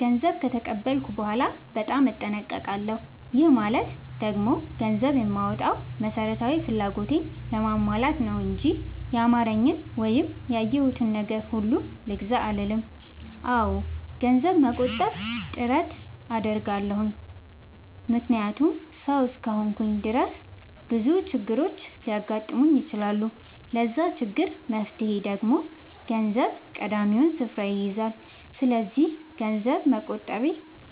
ገንዘብ ከተቀበልኩ በኋላ በጣም እጠነቀቃለሁ። ይህ ማለት ደግሞ ገንዘብ የማወጣው መሠረታዊ ፍላጎቴን ለማሟላት ነው እንጂ ያማረኝን ወይም ያየሁትን ነገር ሁሉ ልግዛ አልልም። አዎ ገንዘብ ለመቆጠብ ጥረት አደርጋለሁ። ምክንያቱም ሠው እስከሆንኩኝ ድረስ ብዙ ችግሮች ሊያጋጥሙኝ ይችላሉ። ለዛ ችግር መፍትሄ ደግሞ ገንዘብ ቀዳሚውን ስፍራ ይይዛል። ሰስለዚክ ገንዘብ መቆጠቤ